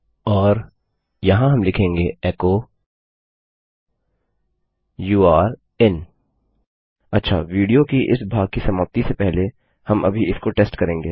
और यहाँ हम लिखेंगे एको यूरे in अच्छा विडियो की इस भाग की समाप्ति से पहले हम अभी इसको टेस्ट करेंगे